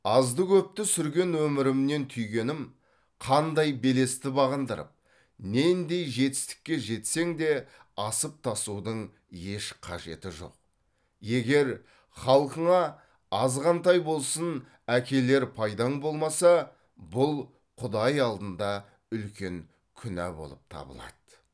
азды көпті сүрген өмірімнен түйгенім қандай белесті бағындырып нендей жетістікке жетсең де асып тасудың еш қажеті жоқ егер халқыңа азғантай болсын әкелер пайдаң болмаса бұл құдай алдында үлкен күнә болып табылды